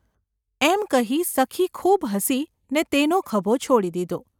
’ એમ કહી સખી ખૂબ હસી ને તેનો ખભો છોડી દીધો.